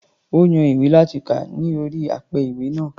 Ó yan ìwé láti kà ní orí apẹ-ìwé náà.